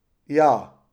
Ja.